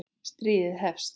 Stríðið hefst